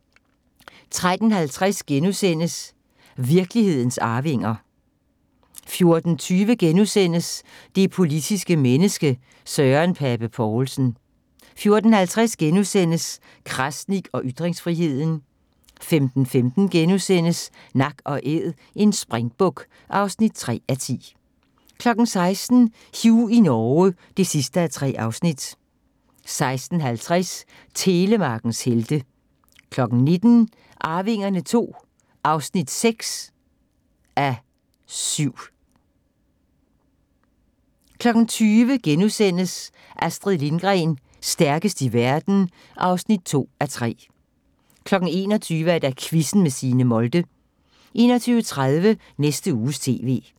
13:50: Virkelighedens arvinger * 14:20: Det politiske menneske – Søren Pape Poulsen * 14:50: Krasnik og ytringsfriheden * 15:15: Nak & Æd – en springbuk (3:10)* 16:00: Hugh i Norge (3:3) 16:50: Telemarkens helte 19:00: Arvingerne II (6:7) 20:00: Astrid Lindgren – stærkest i verden (2:3)* 21:00: Quizzen med Signe Molde 21:30: Næste Uges TV